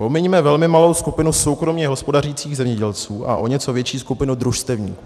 Pomiňme velmi malou skupinu soukromě hospodařících zemědělců a o něco větší skupinu družstevníků.